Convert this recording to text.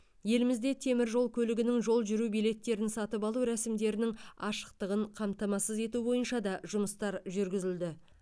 елімізде темір жол көлігінің жол жүру билеттерін сатып алу рәсімдерінің ашықтығын қамтамасыз ету бойынша да жұмыстар жүргізілді